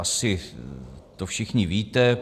Asi to všichni víte.